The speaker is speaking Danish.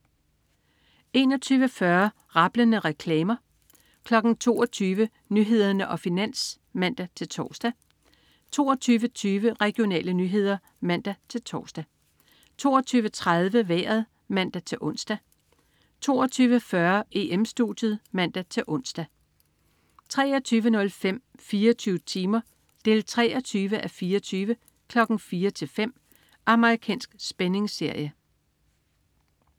21.40 Rablende reklamer 22.00 Nyhederne og Finans (man-tors) 22.20 Regionale nyheder (man-tors) 22.30 Vejret (man-ons) 22.40 EM-Studiet (man-ons) 23.05 24 timer 23:24. 04:00-05:00. Amerikansk spændingsserie